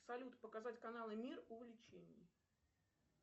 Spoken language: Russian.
салют показать каналы мир увлечений